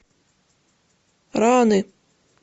раны